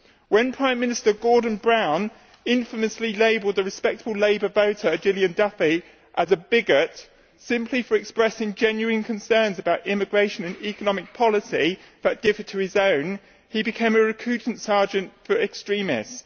When Prime Minister Gordon Brown infamously labelled the respectable Labour voter, Gillian Duffy, as a bigot simply for expressing genuine concerns about immigration and economic policy that differed to his own he became a recruiting sergeant for extremists.